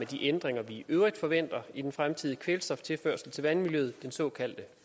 de ændringer vi i øvrigt forventer i den fremtidige kvælstoftilførsel til vandmiljøet den såkaldte